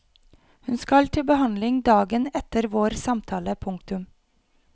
Hun skal til behandling dagen etter vår samtale. punktum